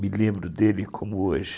Me lembro dele como hoje.